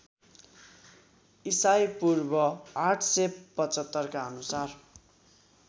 ईपू ८७५ का अनुसार